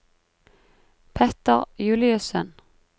Petter Juliussen